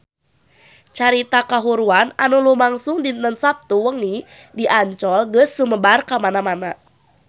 Carita kahuruan anu lumangsung dinten Saptu wengi di Ancol geus sumebar kamana-mana